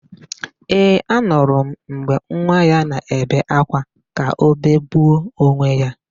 Ee, anụrụ m mgbe nwa ya na-ebe ákwá ka o begbuo onwe ya.